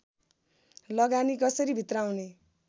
लगानी कसरी भित्र्याउने